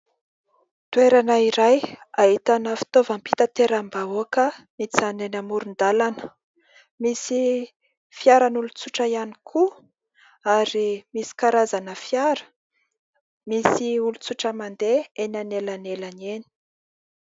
Toerana iray ahitana fitaovam-pitateram-bahoaka mijanona eny amoron-dalana. Misy fiaran' olon-tsotra ihany koa ary misy karazana fiara ; misy olon-tsotra mandeha eny an'elanelany eny.